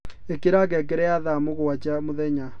ĩkĩra ngengere ya thaa mũgwanja mũthenya